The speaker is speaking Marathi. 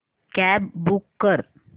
कॅब बूक कर